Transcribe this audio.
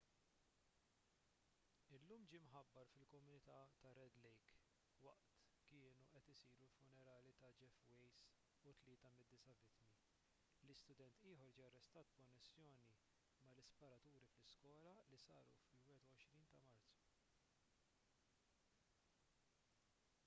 illum ġie mħabbar fil-komunità tar-red lake waqt kienu qed isiru l-funerali ta' jeff weise u tlieta mid-disa' vittmi li student ieħor ġie arrestat b'konnessjoni mal-isparaturi fl-iskola li saru fil-21 ta' marzu